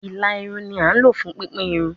Ila irun ni a lo fun pipin irun